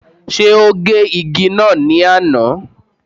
Ṣé ó gé igi náà ní àná?